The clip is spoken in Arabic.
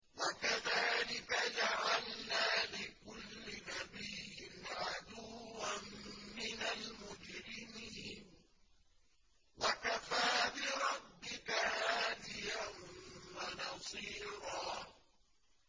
وَكَذَٰلِكَ جَعَلْنَا لِكُلِّ نَبِيٍّ عَدُوًّا مِّنَ الْمُجْرِمِينَ ۗ وَكَفَىٰ بِرَبِّكَ هَادِيًا وَنَصِيرًا